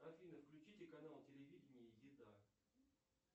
афина включите канал телевидения еда